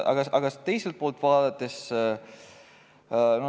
Aga vaatame teiselt poolt.